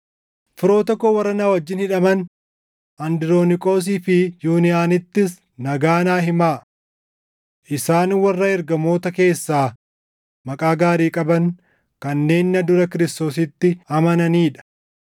Firoota koo warra na wajjin hidhaman Androoniqoosii fi Yuuniyaanittis nagaa naa himaa. Isaan warra ergamoota keessaa maqaa gaarii qaban kanneen na dura Kiristoositti amananii dha.